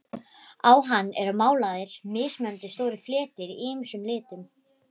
Á hann eru málaðir mismunandi stórir fletir í ýmsum litum.